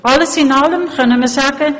Alles in allem können wir sagen: